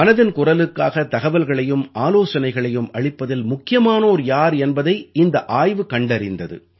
மனதின் குரலுக்காக தகவல்களையும் ஆலோசனைகளையும் அளிப்பதில் முக்கியமானோர் யார் என்பதை இந்த ஆய்வு கண்டறிந்தது